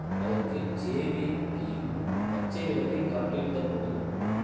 அதற்கு ஜேவீபியும் பச்சைவிளக்கை காட்டியிருத்தல் கூடும்